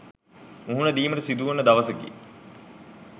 මුහුණ දීමට සිදුවන දවසකි.